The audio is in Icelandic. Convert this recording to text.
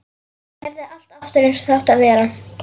Gerði allt aftur eins og það átti að vera.